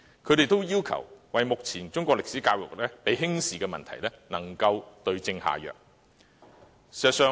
他們要求當局就目前中史教育被輕視的問題對症下藥。